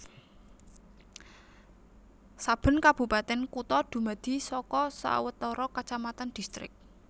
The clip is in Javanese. Saben kabupatèn kutha dumadi saka sawetara kacamatan distrik